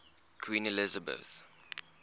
queen elizabeth